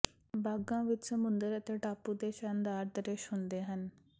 ਬਾਗਾਂ ਵਿੱਚ ਸਮੁੰਦਰ ਅਤੇ ਟਾਪੂ ਦੇ ਸ਼ਾਨਦਾਰ ਦ੍ਰਿਸ਼ ਹੁੰਦੇ ਹਨ